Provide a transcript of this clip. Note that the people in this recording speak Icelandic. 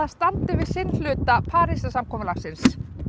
standi við sinn hluta Parísarsamkomulagsins